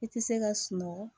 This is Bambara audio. I tɛ se ka sunɔgɔ